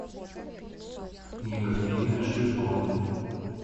екатерина ширко